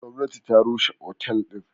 Gwamnati ta rushe otel din.